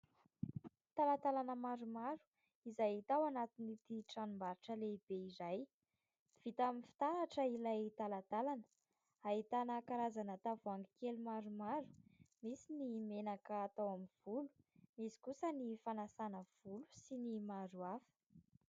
Talatalana maromaro izay hita ao anatin'ity tranombarotra lehibe iray. Vita amin'ny fitaratra ilay talatalana, ahitana karazana tavoahangy kely maromaro. Misy ny menaka atao amin'ny volo. Misy kosa ny fanasana volo sy ny maro hafa.